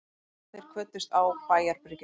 Þeir kvöddust á bæjarbryggjunni.